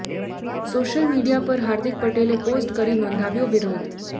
social media પર હાર્દિક પટેલે post કરી નોંધાવ્યો વિરોધ